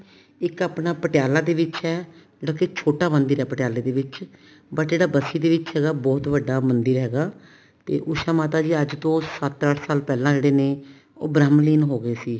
ਇੱਕ ਆਪਣਾ ਪਟਿਆਲਾ ਦੇ ਵਿੱਚ ਹੈ ਜੋ ਕੀ ਛੋਟਾ ਮੰਦਿਰ ਹੈ ਪਟਿਆਲੇ ਦੇ ਵਿੱਚ but ਜਿਹੜਾ ਬਸੀ ਦੇ ਵਿੱਚ ਹੈਗਾ ਬਹੁਤ ਬੜਾ ਮੰਦਿਰ ਹੈਗਾ ਤੇ ਉਸ਼ਾ ਮਾਤਾ ਜੀ ਤੋਂ ਸੱਤ ਅੱਠ ਸਾਲ ਪਹਿਲਾਂ ਜਿਹੜੇ ਨੇ ਉਹ ਬ੍ਰਹਮ ਲੀਨ ਹੋਗੇ ਸੀ